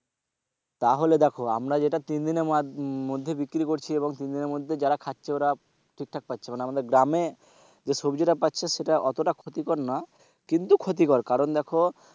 তাহলে দেখো আমরা যেটা তিনদিনের মধ্যে বিক্রি করছি এবং তিনদিনের মধ্যে যারা খাচ্ছে ওরা ঠিকঠাক পাচ্ছে মানে আমাদের গ্রামে যে সবজিটা পাচ্ছে সেটা অতটা ক্ষতিকর নয় কিন্তু ক্ষতিকর, কারণ দেখো,